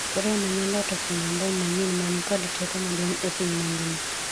Korea ma nyandwat ofwenyo mbom manyien mani kod teko maduong' e piny mangima